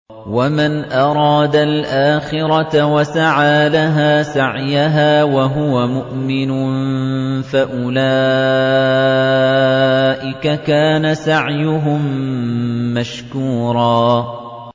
وَمَنْ أَرَادَ الْآخِرَةَ وَسَعَىٰ لَهَا سَعْيَهَا وَهُوَ مُؤْمِنٌ فَأُولَٰئِكَ كَانَ سَعْيُهُم مَّشْكُورًا